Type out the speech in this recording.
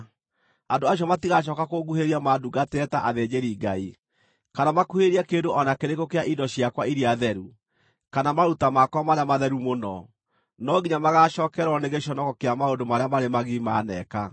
Andũ acio matigacooka kũnguhĩrĩria mandungatagĩre ta athĩnjĩri-Ngai, kana makuhĩrĩrie kĩndũ o na kĩrĩkũ kĩa indo ciakwa iria theru, kana maruta makwa marĩa matheru mũno; no nginya magaacookererwo nĩ gĩconoko kĩa maũndũ marĩa marĩ magigi maneeka.